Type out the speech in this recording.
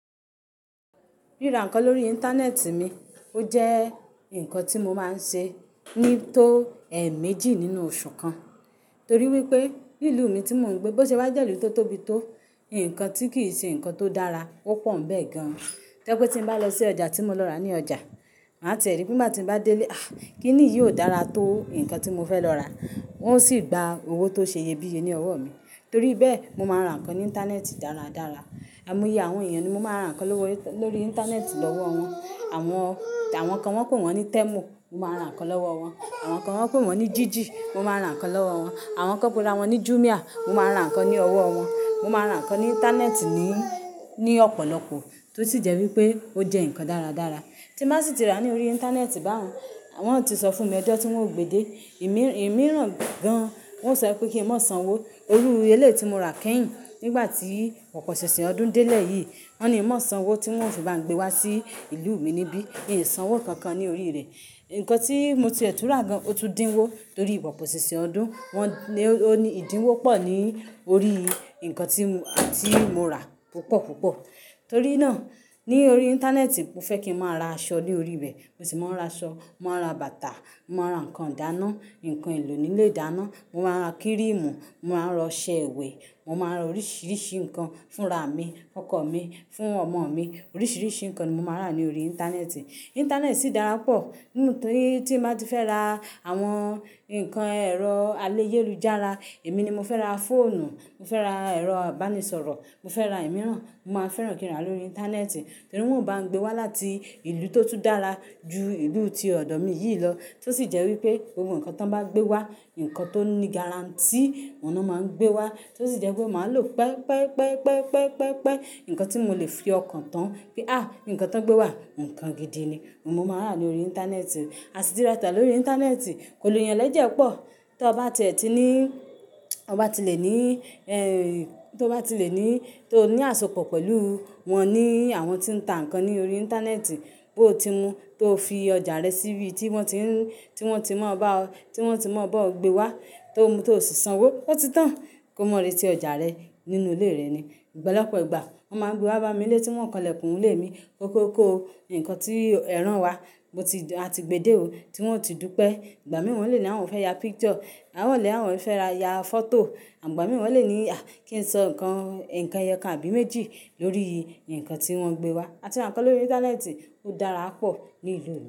Ríra nǹkan lórí íńtánẹ́ẹ̀tì mi, ó jẹ́ nǹkan tí mo máa ń ṣe ní tó ẹẹ̀ẹ̀méjì nínú oṣù kan. Torí wípé, ní ìlú mi tí mò ń gbé, bó ṣe wá jẹ́ ìlú tó tóbi tó, nǹkan tí kì í ṣe nǹkan tó dára, ó pọ̀ bẹ́ẹ̀ gan. Tó jẹ́ pé tí mo bá lọ sí ọjà tí mo lọ rà ní ọjà, màá tìẹ rí, ngba mo bá ti dé lé, "Aa kí ni yìí ó dára tó nǹkan tí mo fẹ́ lọ rà?" Wọn ó sì gba owó tó ṣe ye bíye ní ọwọ́ mi. Torí bẹ́ẹ̀, mo máa ń ra nǹkan ní íńtánẹ́ẹ̀tì dáradára. Àìmọye àwọn èèyàn ni mo máa ń ra nǹkan lórí íńtánẹ́ẹ̀tì lọ́wọ́ wọn. Àwọn, àwọn kan wọ́n pè wọ́n ní Tẹ́mù, mo máa ra nǹkan lọ́wọ́ wọn. Àwọn kan wọ́n pè wọ́n ní Jíjì, mo máa ra nǹkan lọ́wọ́ wọn. Àwọn kan pera wọn ní Jùmià, mo máa ń ra nǹkan ní owó wọn. Mo máa ra nǹkan ní íńtánẹ́ẹ̀tì ní, ní ọ̀pọ̀lọpọ̀ tó sì jẹ́ wípé ó jẹ́ nǹkan dáradára. Tí mo bá sì ti rà ní orí íńtánẹ́ẹ̀tì baun, wọ́n ti sọ fún mi ọjọ́ tí wọ́n ó gbe dé, ìmíràn gan, wọ́n o sọ pé kí n mọ sánwó, irú eléyìí tí mo rà kẹ́yìn nígbà tí pọpọṣìnṣìn ọdún délẹ yìí. Wọ́n ní n mọ́ sanwó tí wọn ò fì bá ń gbé wá sí ìlú mi níbí. Iń sanwó kankan ní orí rẹ̀. Ǹkan tí mo ti ẹ tùn rá gan, ó tún dínwó torí pọpọsìnsìn ọdún. Wọ́n ní ó ní ìdínwó pọ̀ ní orí ǹkan tí, tí mo rà púpọ̀púpọ̀. Torí náà, ní orí íńtánẹ́ẹ̀tì mo fẹ́ kí ń máa ra aṣọ ní orí rẹ̀, mo sì máa ń ra aṣọ, màá ra bàtà, màá ra nǹkan ìdáná, nǹkan ìló nì ílé ìdáná, màá ra kírìmù, màá ra ọṣẹ ìwẹ̀, mo màá ra oríṣìíríṣìí nǹkan fún ra mi, ọkọ mi, fún ọmọ mi. Oríṣìíríṣìí nǹkan ni mo máa ń rà ní orí íńtánẹ́ẹ̀tì. Íńtánẹ́ẹ̀tì sì dára pọ̀. Nínú tí, tí màá ti fẹ́ ra àwọn nǹkan ẹ̀rọ alẹ́ ayélujára, èmi ni mo fẹ́ ra fóònù, mo fẹ́ ra ẹ̀rọ ìbánisọ̀rọ̀, mo fẹ́ ra ìmíràn, mo máa fẹ́ràn kí ń rà lórí íńtánẹ́ẹ̀tì. Torí wọ́n ò bá ń gbé wá láti ìlú tó tún dára ju ìlú tí ọ̀dọ̀ mi yìí lọ. Tó sì jẹ́ wípé ohun nǹkan tí wọ́n bá gbé wá, nǹkan tó ní gárantí oun náà máa ń gbé wá. Tó sì jẹ́ pé màá lọ pẹ́ pẹ́ pẹ́ pẹ́ pẹ́ nǹkan tí mo lè fi ọkàn tán, pé "àí, nǹkan tó ń gbé wá, nǹkan gidi ni." Mo máa rà á lórí íńtánẹ́ẹ̀tì. A sì ti rà ọjà lórí íńtánẹ́ẹ̀tì kò lo yàn lẹ́jẹ́ pọ̀. Tí ẹ bá ti ẹ tí ní, ọ bá ti lè ní, ẹ̀ tí o bá ti lè ní, tí o ní àsopọ̀ pẹ̀lú wọn ní àwọn tí ń ta nǹkan ní orí íńtánẹ́ẹ̀tì, bó ti mu tó fi ọjà rẹ síbi tí wọn ti ń, tí wọn ti mọ̀ bá ọ, tí wọn ti mọ̀ bá ọ gbé wá tó mu tó sì sanwó, ó ti tán. Kó mọ̀rí tí ọjà rẹ nínú ilé rẹ ni. Ọ̀pọ̀lọpọ̀ ìgbà wọ́n máa ń gbé wá bá mi n lé tí wọn kanlẹ̀kùn ilé mi kókó kó nǹkan tí ẹ̀ rán wa. Mo ti, a ti gbe dé o, tí wọn ò tí ì dúpẹ́. Ìgbà mì wọ́n lè ní àwọn fẹ́ ya picture, àwọn lè àwọn ò fẹ́ ra ya fọ́tò. Ìgbà mì wọn lè ní "à kí n sọ nǹkan, nǹkan ẹyọkan àbí méjì lórí nǹkan tí wọn gbé wá?" A ti ra nǹkan lórí íńtánẹ́ẹ̀tì ó dára pọ̀ ní ìlú mi.